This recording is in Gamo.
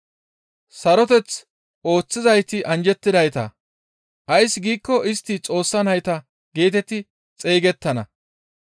Saroteth ooththizayti anjjettidayta; ays giikko istti Xoossa nayta geetetti xeygettana.